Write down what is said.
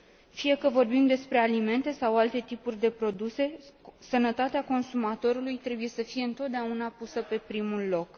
Fie că vorbim despre alimente sau alte tipuri de produse, sănătatea consumatorului trebuie să fie întotdeauna pusă pe primul loc.